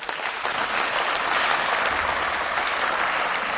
Vielen Dank, Herr Ministerpräsident, für Ihre Ausführungen.